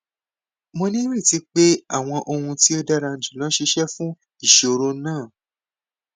mo nireti pe awọn ohun ti o dara julọ ṣiṣẹ fun iṣoro naa